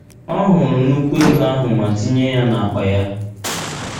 Ọ hụrụ nnùkwù ego ahụ ma tinye ya n’akpa ya.